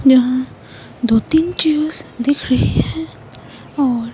यहां दो-तीन चीज दिख रही है और--